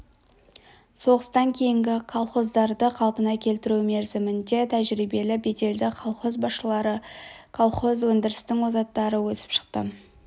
соғыстан кейінгі колхоздарды қалпына келтіру мерзімінде тәжірибелі беделді колхоз басшылары колхоз өндірісінің озаттары өсіп шықты